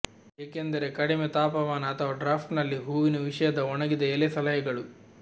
ಏಕೆಂದರೆ ಕಡಿಮೆ ತಾಪಮಾನ ಅಥವಾ ಡ್ರಾಫ್ಟ್ ನಲ್ಲಿ ಹೂವಿನ ವಿಷಯದ ಒಣಗಿದ ಎಲೆ ಸಲಹೆಗಳು